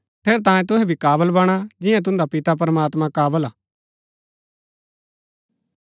ठेरैतांये तुहै भी काबल बणा जियां तुन्दा पिता प्रमात्मां काबल हा